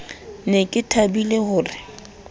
ne ke thabile ho re